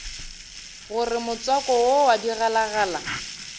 gore motswako wo wa digalagala